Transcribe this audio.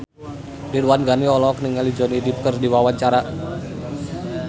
Ridwan Ghani olohok ningali Johnny Depp keur diwawancara